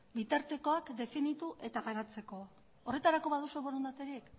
bitartekoak definitu eta garatzeko horretarako baduzue borondaterik